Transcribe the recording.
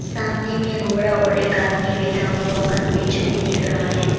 सामने में घोड़ा और एक आदमी बैठा हुआ का स्टैचू भी दिख रहा है।